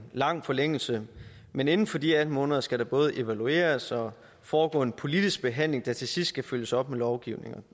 lang forlængelse men inden for de atten måneder skal der både evalueres og foregå en politisk behandling der til sidst skal følges op med lovgivning